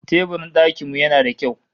Teburin dakin mu yana da kyau